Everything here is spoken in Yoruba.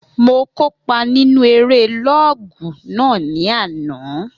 Mo kópa nínu eré lọ́ọ̀gù náà ní àná